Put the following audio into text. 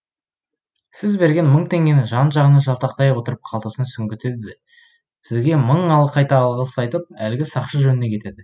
сіз берген мың теңгені жан жағына жалтақтай отырып қалтасына сүңгітеді де сізге мың қайта алғыс айтып әлгі сақшы жөніне кетеді